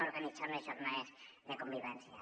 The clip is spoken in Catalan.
or·ganitzem unes jornades de convivència